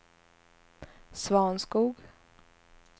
Svanskog